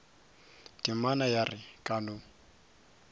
temana ya re ka no